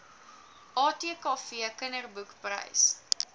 atkv kinderboek prys